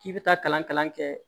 K'i bɛ taa kalan kɛ